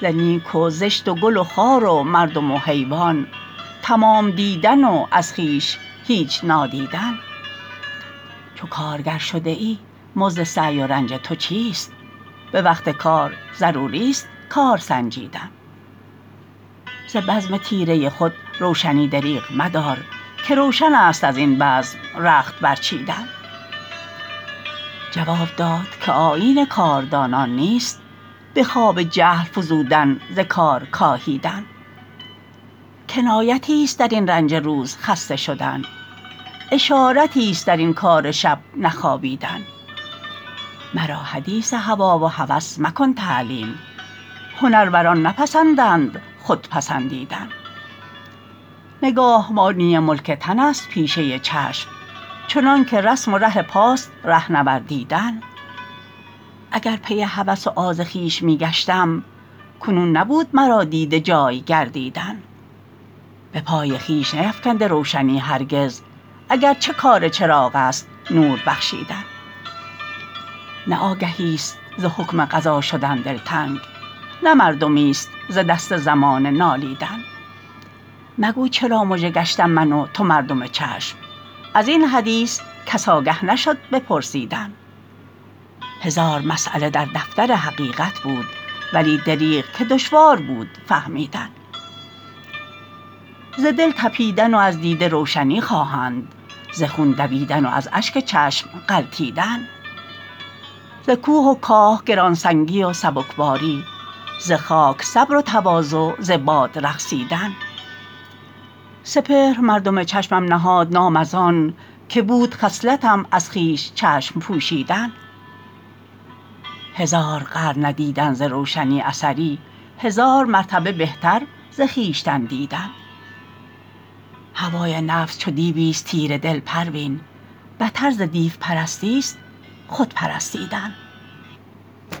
ز نیک و زشت و گل و خار و مردم و حیوان تمام دیدن و از خویش هیچ نادیدن چو کارگر شده ای مزد سعی و رنج تو چیست بوقت کار ضروری است کار سنجیدن ز بزم تیره خود روشنی دریغ مدار که روشنست ازین بزم رخت برچیدن جواب داد که آیین کاردانان نیست بخواب جهل فزودن ز کار کاهیدن کنایتی است درین رنج روز خسته شدن اشارتی است درین کار شب نخوابیدن مرا حدیثی هوی و هوس مکن تعلیم هنروران نپسندند خود پسندیدن نگاهبانی ملک تن است پیشه چشم چنانکه رسم و ره پاست ره نوردیدن اگر پی هوس و آز خویش میگشتم کنون نبود مرا دیده جای گردیدن بپای خویش نیفکنده روشنی هرگز اگرچه کار چراغ است نور بخشیدن نه آگهیست ز حکم قضا شدن دلتنگ نه مردمی است ز دست زمانه نالیدن مگو چرا مژه گشتم من و تو مردم چشم ازین حدیث کس آگه نشد بپرسیدن هزار مسیله در دفتر حقیقت بود ولی دریغ که دشوار بود فهمیدن ز دل تپیدن و از دیده روشنی خواهند ز خون دویدن و از اشک چشم غلتیدن ز کوه و کاه گرانسنگی و سبکباری ز خاک صبر و تواضع ز باد رقصیدن سپهر مردم چشمم نهاد نام از آن که بود خصلتم از خویش چشم پوشیدن هزار قرن ندیدن ز روشنی اثری هزار مرتبه بهتر ز خویشتن دیدن هوای نفس چو دیویست تیره دل پروین بتر ز دیو پرستی است خودپرستیدن